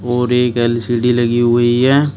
और एक एल_सी_डी लगी हुई है।